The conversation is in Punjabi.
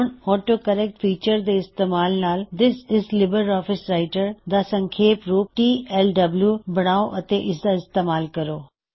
ਹੁਣ ਆਟੋ ਕਰੇਕ੍ਟ ਫੀਚਰ ਦੇ ਇਸਤੇਮਾਲ ਨਾਲ this is LibreOffice Writer ਦਾ ਸੰਖੇਪ ਰੂਪ ਟਲਡਬਲਿਊ ਬਨਾਓ ਅਤੇ ਇਸਦਾ ਇਸਤੇਮਾਲ ਕਰੋ